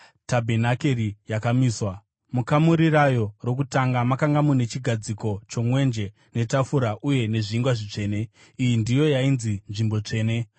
Tabhenakeri yakamiswa. Mukamuri rayo rokutanga makanga mune chigadziko chomwenje, netafura uye nezvingwa zvitsvene; iyi ndiyo yainzi Nzvimbo Tsvene.